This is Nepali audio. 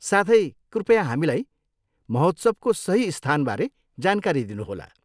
साथै, कृपया हामीलाई महोत्सवको सही स्थानबारे जानकारी दिनुहोला।